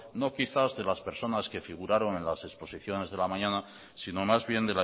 no quizás de las personas que figuraron en las exposiciones de la mañana sino más bien